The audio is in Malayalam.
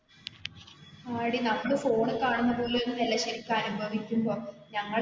ആടി നമ്മള് phone ൽ കാണുന്നത് പോലെ ഒന്നും അല്ല ശെരിക്കും അനുഭവിക്കുമ്പോ ഞങ്ങൾ ഇപ്പൊ,